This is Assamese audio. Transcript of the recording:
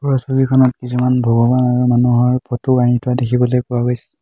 ওপৰৰ ছবিখনত কিছুমান ভগৱান আৰু মানুহৰ ফটো আৰি থোৱা দেখিবলৈ পোৱা গৈছে।